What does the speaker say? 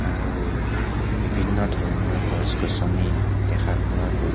আৰু বিভিন্ন ধৰণৰ গছ গছনী দেখা পোৱা গৈছে.